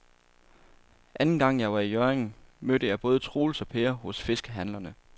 Anden gang jeg var i Hjørring, mødte jeg både Troels og Per hos fiskehandlerne.